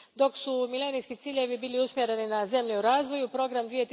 Dok su milenijski ciljevi bili usmjereni na zemlje u razvoju, Program